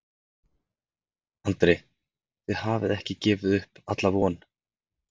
Andri: Þið hafið ekki gefið upp alla von?